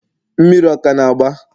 mmiri ọ ka na-agba?